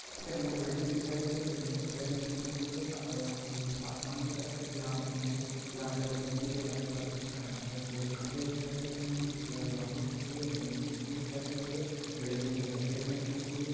यहाँ पे हमको बिल्डिंग दिखाई दे रही है बिल्डिंग जो हरे रंग की पुती है और यहाँ पीछे में आसमान दिख रहा है जहाँ पे हमको यहाँ पे मिट्टी के बने पत्थर के ख यहाँ पे हमको खम्भे दिखाई दे रहे हैं जिसकी यहाँ पे बाउंड्री खींची हुई है जमीन की मिट्टी दिखाई दे रही है बिल्डिंग जो सफ़ेद रंग की पुती है।